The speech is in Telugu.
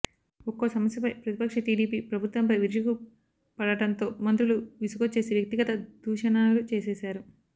ఒక్కో సమస్యపై ప్రతిపక్ష టీడీపీ ప్రభుత్వంపై విరుచుకుపడడంతో మంత్రులు విసుగొచ్చేసి వ్యక్తిగత దూషణలు చేసేశారు